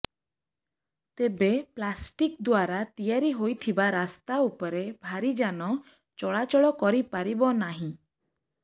ତେବେ ପ୍ଲାଷ୍ଟିକ୍ ଦ୍ୱାରା ତିଆରି ହୋଇଥିବା ରାସ୍ତା ଉପରେ ଭାରି ଯାନ ଚଳାଚଳ କରି ପାରିବ ନାହିଁ